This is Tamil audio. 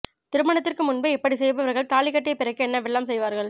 திருமணத்திற்கு முன்பே இப்படி செய்பவர்கள் தாலி கட்டிய பிறகு என்னவெல்லாம் செய்வார்கள்